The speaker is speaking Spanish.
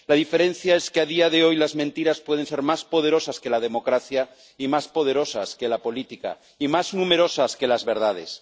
La diferencia es que, a día de hoy, las mentiras pueden ser más poderosas que la democracia y más poderosas que la política, y más numerosas que las verdades.